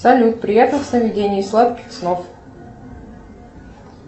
салют приятных сновидений сладких снов